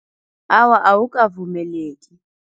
Awa, awukavumeleki.